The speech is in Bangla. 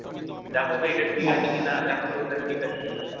দেখো তো একটা ঠিক আছে কিনা? দেখো তো ওটা ঠিক আছে কিনা?